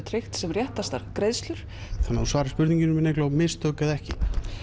tryggja sem réttastar greiðslur þannig þú svarir spurningunni minni Eygló mistök eða ekki